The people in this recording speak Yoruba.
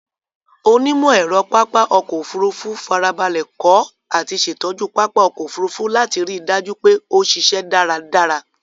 Onímọ̀-ẹ̀rọ pápá ọkọ̀ Òfurufú farabalẹ̀ kọ́ àti ṣẹ̀tọ́jú pápá ọkọ̀ Òfurufú láti ri dájú pé ó ṣíṣẹ́ dáradára.